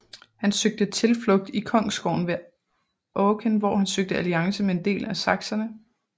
Han søgte tilflugt i kongsgården ved Aachen hvor han søgte alliance med en del af sakserne